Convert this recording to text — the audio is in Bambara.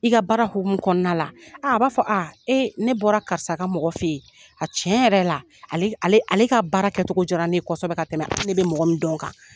I ka baara hokumun kɔnɔna la aa a b'a fɔ a ee ne bɔra karisa ka mɔgɔ fɛ yen a tiɲɛ yɛrɛ yɛrɛ la ale ale ale ka baara kɛtogo diara ne ye kɔsɔbɛ ka tɛmɛ a hakili bɛ mɔgɔ min dɔn kan